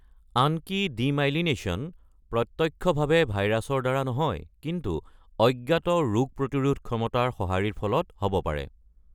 আনকি ডিমাইলিনেচন প্ৰত্যক্ষভাৱে ভাইৰাছৰ দ্বাৰা নহয় কিন্তু অজ্ঞাত ৰোগ প্ৰতিৰোধ ক্ষমতাৰ সঁহাৰিৰ ফলত হ’ব পাৰে।